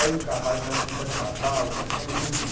Aí o cavalo, entrava entrava o cavalo, cada cavalo lindo, né?